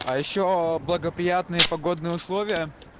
а ещё благоприятные погодные условия